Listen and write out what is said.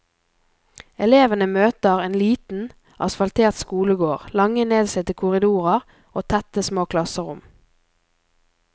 Elevene møter en liten, asfaltert skolegård, lange, nedslitte korridorer og tette, små klasserom.